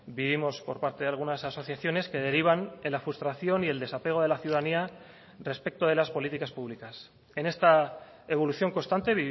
vivimos por parte de algunas asociaciones que derivan en la frustración y el desapego de la ciudadanía respecto de las políticas públicas en esta evolución constante